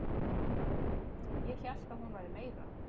Ég hélt að hún væri meira